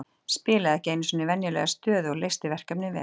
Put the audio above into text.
Spilaði ekki í sinni venjulegu stöðu og leysti verkefnið vel.